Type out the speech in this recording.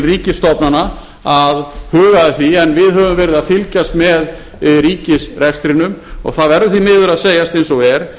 ríkisstofnana að huga að því en við höfum verið að fylgjast með ríkisrekstrinum og það verður því miður að segjast eins og er